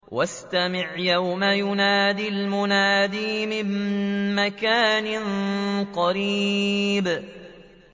وَاسْتَمِعْ يَوْمَ يُنَادِ الْمُنَادِ مِن مَّكَانٍ قَرِيبٍ